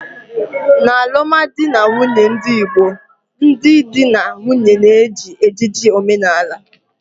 n'alụmdi na nwunye ndị Igbo, ndị di na nwunye na-eji ejiji omenala